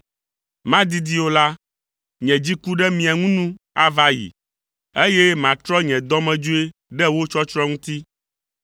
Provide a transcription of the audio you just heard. Madidi o la, nye dziku ɖe mia ŋu nu ava ayi, eye matrɔ nye dɔmedzoe ɖe wo tsɔtsrɔ̃ ŋuti.”